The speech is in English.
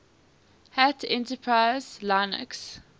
hat enterprise linux